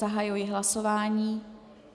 Zahajuji hlasování.